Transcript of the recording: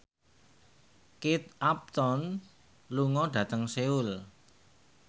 Kate Upton lunga dhateng Seoul